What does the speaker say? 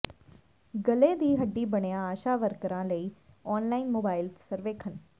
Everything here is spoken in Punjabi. ਗਲੇ ਦੀ ਹੱਡੀ ਬਣਿਆ ਆਸ਼ਾ ਵਰਕਰਾਂ ਲਈ ਆਨਲਾਈਨ ਮੋਬਾਈਲ ਸਰਵੇਖਣ